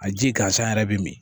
A ji gansan yɛrɛ bɛ min